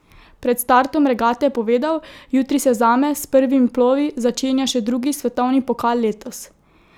Pred startom regate je povedal: "Jutri se zame s prvimi plovi začenja še drugi svetovni pokal letos.